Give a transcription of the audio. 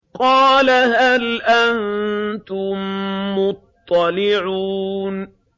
قَالَ هَلْ أَنتُم مُّطَّلِعُونَ